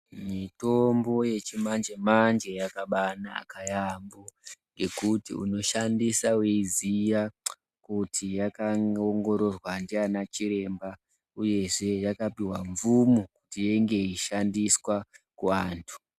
Mitombo yechimanje-manje yakabaanaka yaampho, ngekuti unoshandisa weiziya kuti yakaongororwa ndiana chiremba, uyezve yakapihwa mvumo kuti inge yeishandiswa kuantu.